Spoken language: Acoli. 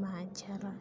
ma acata